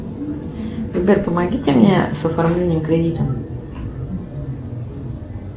ребят помогите мне с оформлением кредита